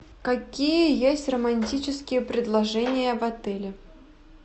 какие есть романтические предложения в отеле